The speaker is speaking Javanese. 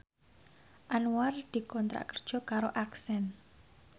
Anwar dikontrak kerja karo Accent